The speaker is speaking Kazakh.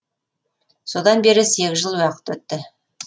содан бері сегіз жыл уақыт өтті